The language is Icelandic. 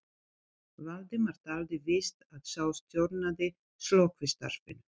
Valdimar taldi víst að sá stjórnaði slökkvistarfinu.